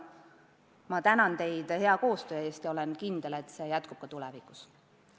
Ma tänan teid hea koostöö eest ja olen kindel, et see jätkub ka tulevikus.